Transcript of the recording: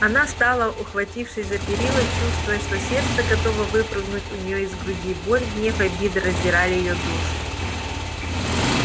она стала ухватившись за перила чувствуя что сердце готово выпрыгнуть у нее из груди боль гнев обида раздирали её душу